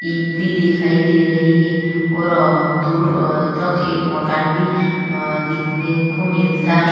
ईंट भी दिखाई दे रही है और आ दूर आ तक एक मकान भी आ देखने को मिलता है।